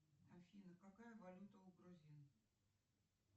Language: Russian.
афина какая валюта у грузин